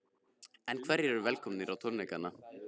En hverjir eru velkomnir á tónleikana?